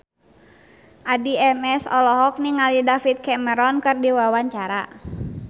Addie MS olohok ningali David Cameron keur diwawancara